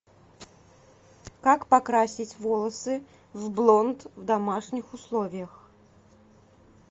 как покрасить волосы в блонд в домашних условиях